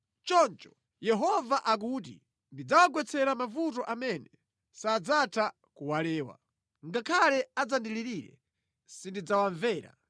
Choncho Yehova akuti, ‘Ndidzawagwetsera mavuto amene sadzatha kuwalewa. Ngakhale adzandilirire, sindidzawamvera.